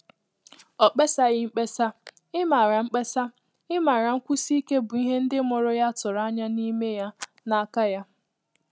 Ọ́ mkpésàghi mkpesa, ị́màrà mkpesa, ị́màrà nkwụ́sí íké bụ́ ìhè ndị́ mụ́rụ̀ yá tụ́rụ̀ ányá n’ímé yá n’áká yá.